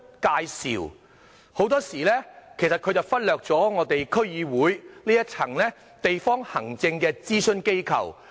他們許多時候忽略了區議會這一層地方行政諮詢機構。